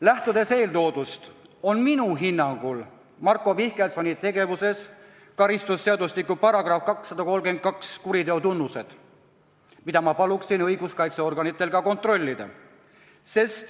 Lähtudes eeltoodust, on minu hinnangul Marko Mihkelsoni tegevuses karistusseadustiku §-s 232 esitatud kuriteokoosseisu tunnused, mida ma palun õiguskaitseorganitel ka kontrollida.